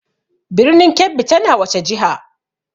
Birnin Kebbi tana wace jiha?